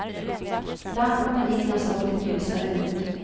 Bland komedierna såg det ljusare ut.